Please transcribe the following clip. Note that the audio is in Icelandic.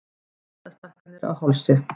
Eitlastækkanir á hálsi.